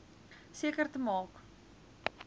seker te maak